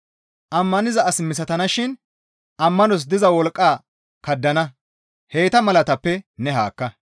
Ammaniza as misatana shin ammanos diza wolqqaa kaddana; heyta malatappe ne haakka.